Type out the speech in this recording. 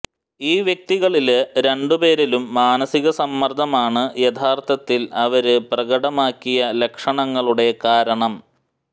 ഈ വ്യക്തികളില് രണ്ടു പേരിലും മാനസിക സമ്മർദ്ദമാണ് യഥാർത്ഥത്തിൽ അവര് പ്രകടമാക്കിയ ലക്ഷണങ്ങളുടെ കാരണം